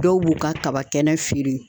Dɔw b'u ka kaba kɛnɛ feere